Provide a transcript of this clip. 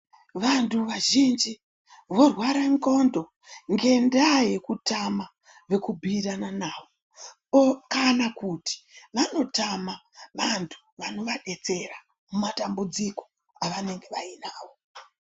Vanthu vazhinji vorware ndxondo ngendaa yekutama vekubhuirana navo kana kuti vanotama vanthu vanovadetsera mumatambudziko avanenge vainawo.